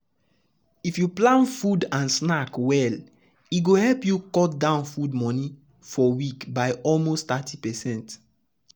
if you plan food and snack and snack well e go help you cut down food money for week by almost 30%.